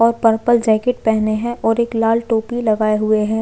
और purple jacket पहने है और एक लाल टोपी लगाये हुए हैं।